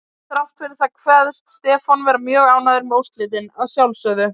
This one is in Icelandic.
Þrátt fyrir það kveðst Stefán vera mjög ánægður með úrslitin, að sjálfsögðu.